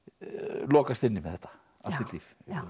lokast inni með þetta allt sitt líf